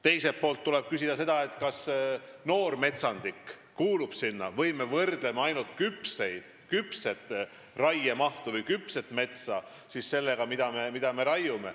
Teiselt poolt tuleb küsida seda, kas noor metsandik kuulub sinna või me võrdleme ainult küpset metsa sellega, mida me raiume.